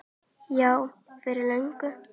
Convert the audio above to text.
Já, fyrir löngu.